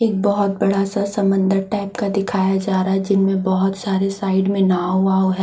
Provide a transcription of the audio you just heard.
एक बहुत बड़ा सा समंदर टाइप का दिखाया जा रहा है जिसमें बहुत सारे साइड मे नाव वाव हैं।